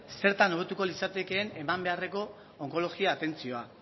zertan hobetuko litzatekeen eman beharreko onkologia atentzioa